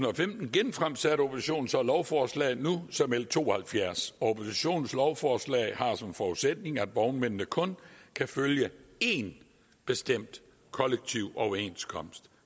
genfremsatte oppositionen så lovforslaget nu som l to og halvfjerds oppositionens lovforslag har som forudsætning at vognmændene kun kan følge én bestemt kollektiv overenskomst